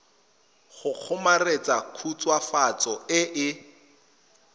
go kgomaretsa khutswafatso e e